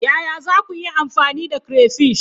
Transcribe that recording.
Yaya za ku yi amfani da crayfish?